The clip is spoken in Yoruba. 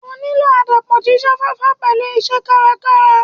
O nílò àdàpọ̀ jíjá fáfá pẹ̀lú iṣẹ́ kárakára.